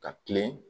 Ka kilen